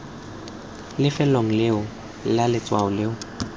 lefelong leo fa letshwao leo